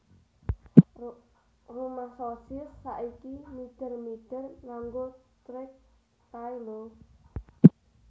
Rumah Sosis saiki mider mider nganggo trek kae lho